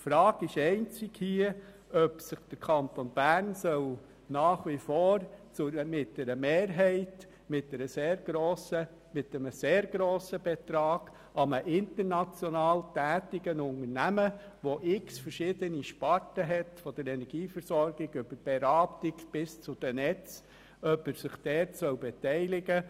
Hier besteht einzig die Frage, ob der Kanton Bern im Rahmen seines ganzen Anlageportfolios quasi ein Klumpenrisiko eingeht, indem er sich nach wie vor mit einer Mehrheit und damit einem sehr grossen Betrag an einem international tätigen Unternehmen beteiligen soll, welches verschiedene Sparten umfasst, von der Energieversorgung über die Beratung bis zu den Netzen.